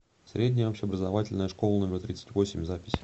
средняя общеобразовательная школа номер тридцать восемь запись